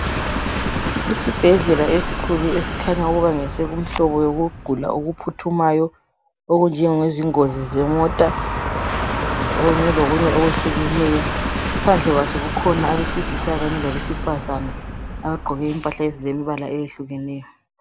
Isibhedlela esikhulu esikhanya ukuba ngesomhlobo wokugula okuphuthumayo okunjengozi kanye lokunye okwehlukeneyo. Phandle kwaso kukhona abesilisa kanye labesifazane abagqoke impahla ezilemibala eyehlukeneyo.